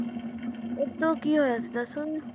ਕੀ ਹੋਇਆ ਸੀ ਦੱਸ ਸਕਦੇ ਹੋ?